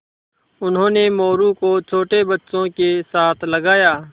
उन्होंने मोरू को छोटे बच्चों के साथ लगाया